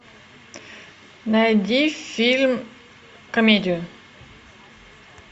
найди фильм комедию